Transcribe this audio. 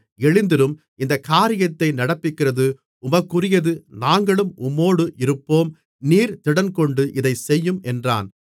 எழுந்திரும் இந்தக் காரியத்தை நடப்பிக்கிறது உமக்குரியது நாங்களும் உம்மோடு இருப்போம் நீர் திடன்கொண்டு இதைச் செய்யும் என்றான்